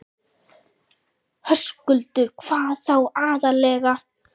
Höskuldur: Hvað þá aðallega?